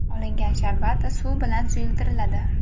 Olingan sharbat suv bilan suyultiriladi.